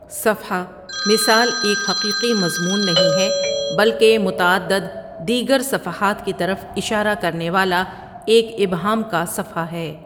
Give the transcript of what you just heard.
صفحہ مثال ایک حقیقی مضمون نہیں ہے، بلکہ متعدد دیگر صفحات کی طرف اشارہ کرنے والا ایک ابہام کا صفحہ ہے۔